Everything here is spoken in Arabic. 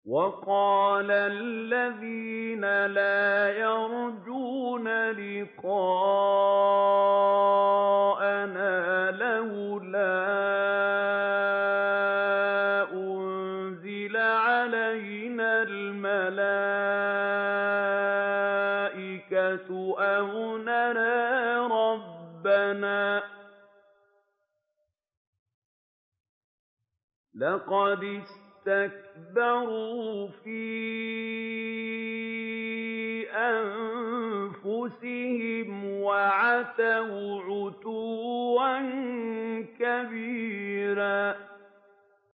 ۞ وَقَالَ الَّذِينَ لَا يَرْجُونَ لِقَاءَنَا لَوْلَا أُنزِلَ عَلَيْنَا الْمَلَائِكَةُ أَوْ نَرَىٰ رَبَّنَا ۗ لَقَدِ اسْتَكْبَرُوا فِي أَنفُسِهِمْ وَعَتَوْا عُتُوًّا كَبِيرًا